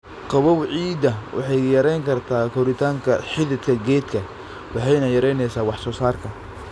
Qabow ciidda waxay yarayn kartaa koritaanka xididka geedka waxayna yaraynaysaa wax-soo-saarka.